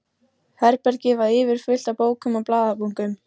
Herbergið var yfirfullt af bókum og blaðabunkum.